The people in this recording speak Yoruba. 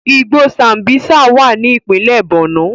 Igbó Sambísa wà ní ìpínlẹ̀ Borno